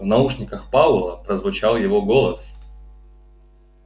в наушниках пауэлла прозвучал его голос